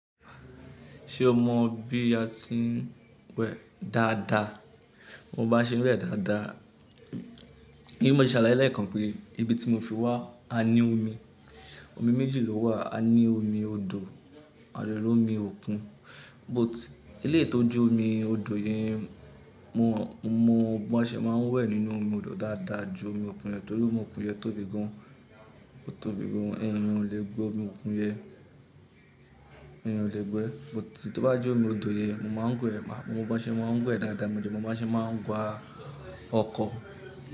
Ṣé o mọ bí a ti ń wẹ̀ dáadáa? Mo mo bá ṣe n wẹ̀ dáadáa. Ní mo ti sàlàyé lẹ kan pé ibi tí mo fi wá a ní omi, omi méjì ló wà, a ní omi odò àdẹ l'omi òkun, but eleyii tò jẹ omi odò yẹn, mo mọ bó ṣe máa ń wẹ̀ nínú omi odò dáadáa ju omi òkun lọ, torí omi òkun yẹn tóbi gan-an, ó tóbi gan-an, èèyàn ò lè gbẹ omi òkun yẹn, èèyàn ò lè gbẹ. But tí ó bá jẹ́ omi odò yẹn, mo máa ń wẹ̀ pa, mo mọ bó ṣe máa ń wẹ dáadáa, mo dẹ mọ bó ṣe máa ń wa ọkọ̀